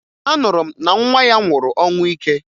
Anụrụ m na nwa ya nwụrụ ọnwụ ike